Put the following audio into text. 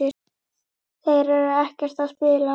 Þeir eru ekkert að spila?